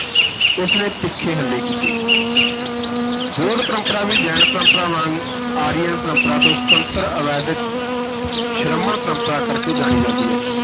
ਉਸ ਨੇ ਤਿੱਖੇ ਹੱਲੇ ਕੀਤੇ ਬੋਧ ਪਰੰਪਰਾ ਵੀ ਜੈਨ-ਪਰੰਪਰਾ ਵਾਂਗ ਆਰੀਅਨ ਪਰੰਪਰਾ ਤੋਂ ਸੁਤੰਤਰ ਅਵੈਦਕ ਸ਼੍ਰਮਣ ਪਰੰਪਰਾ ਕਰ ਕੇ ਜਾਣੀ ਜਾਂਦੀ ਹੈ।